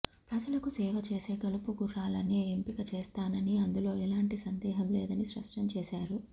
ప్రజలకు సేవ చేసే గెలుపు గుర్రాలనే ఎంపిక చేస్తానని అందులో ఎలాంటి సందేహం లేదని స్పష్టం చేశారు